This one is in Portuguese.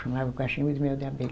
Chamava cachimbo de mel de abelha.